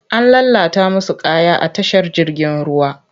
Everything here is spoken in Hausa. An lalata musu kaya a tashar jirgin ruwa.